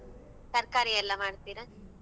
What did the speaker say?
ಹೋ ತರ್ಕಾರಿ ಎಲ್ಲ ಮಾಡ್ತೀರಾ?